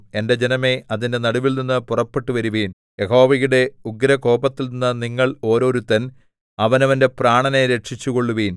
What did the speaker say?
എന്റെ ജനമേ അതിന്റെ നടുവിൽനിന്നു പുറപ്പെട്ടുവരുവിൻ യഹോവയുടെ ഉഗ്രകോപത്തിൽനിന്ന് നിങ്ങൾ ഓരോരുത്തൻ അവനവന്റെ പ്രാണനെ രക്ഷിച്ചുകൊള്ളുവിൻ